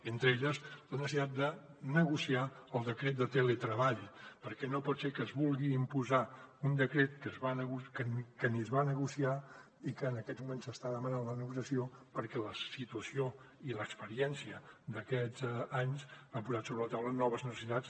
entre ells la necessitat de negociar el decret de teletreball perquè no pot ser que es vulgui imposar un decret que ni es va negociar i que en aquests moments se n’està demanant la negociació perquè la situació i l’experiència d’aquests anys han posat sobre la taula noves necessitats